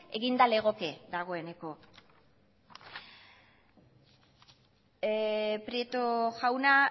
eginda legoke dagoeneko prieto jauna